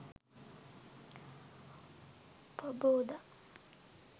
paboda